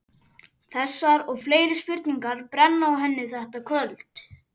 Þessar og fleiri spurningar brenna á henni þetta kvöld.